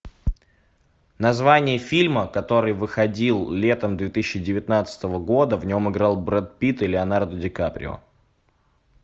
название фильма который выходил летом две тысячи девятнадцатого года в нем играл брэд питт и леонардо ди каприо